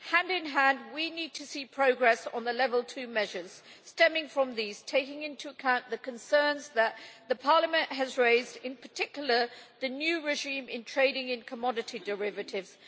Hand in hand, we need to see progress on the Level 2 measures stemming from these, taking into account the concerns that Parliament has raised, in particular the new regime in trading in commodity derivatives.